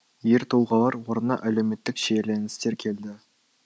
ер тұлғалар орнына әлеуметтік шиеленістер келді